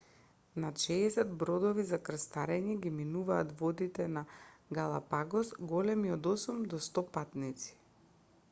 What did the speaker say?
над 60 бродови за крстарење ги минуваат водите на галапагос големи од 8 до 100 патници